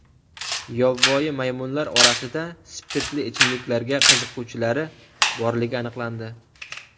Yovvoyi maymunlar orasida spirtli ichimliklarga qiziquvchilari borligi aniqlandi.